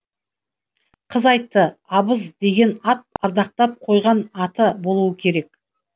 қыз айтты абыз деген ат ардақтап қойған аты болуы керек